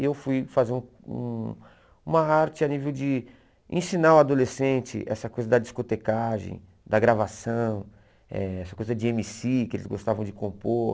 Eu fui fazer um uma arte a nível de ensinar o adolescente essa coisa da discotecagem, da gravação, eh essa coisa de êm cí que eles gostavam de compor.